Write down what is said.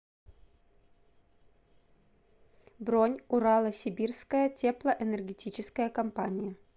бронь урало сибирская теплоэнергетическая компания